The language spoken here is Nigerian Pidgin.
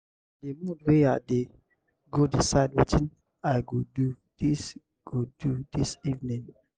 na di mood wey i dey go decide wetin i go do dis go do dis evening.